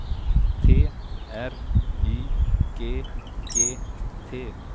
T R Y G G T